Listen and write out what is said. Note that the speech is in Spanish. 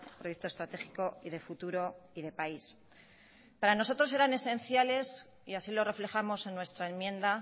proyecto estratégico y de futuro y de país para nosotros eran esenciales y así lo reflejamos en nuestra enmienda